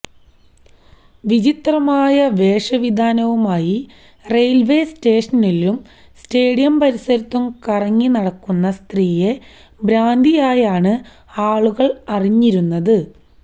വിചിത്രമായ വേഷവിധാനവുമായി റെയില്വേ സ്റ്റേഷനിലും സ്റ്റേഡിയം പരിസരത്തും കറങ്ങി നടക്കുന്ന സ്ത്രീയെ ഭ്രാന്തിയായാണ് ആളുകള് അറിഞ്ഞിരുന്നത്